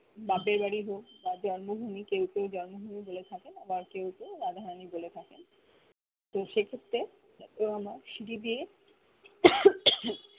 বাপের বাড়ি হ আ জন্ম ভুমি কেও কেও জন্ম ভুমি বলে থাকেন আবার কেও কেও রাধা রানি বলে থাকেন তো সে ক্ষেত্রে ও আমার